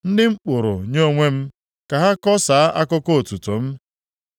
Ndị m kpụrụ nye onwe m, ka ha kọsaa akụkọ otuto m.